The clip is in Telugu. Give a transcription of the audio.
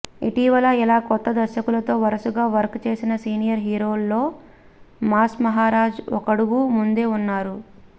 ఇటీవల ఇలా కొత్త దర్శకులతో వరుసగా వర్క్ చేసిన సీనియర్ హీరోల్లో మాస్ మహారాజ్ ఒకడుగు ముందే ఉన్నారు